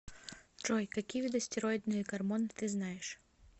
джой какие виды стероидные гормоны ты знаешь